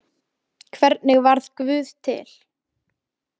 Hvernig varð guð til?